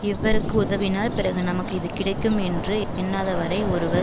இவருக்கு உதவினால் பிறகு நமக்கு இது கிடைக்கும் என்று எண்ணாதவரை ஒருவர்